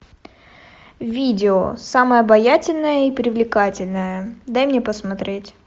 видео самая обаятельная и привлекательная дай мне посмотреть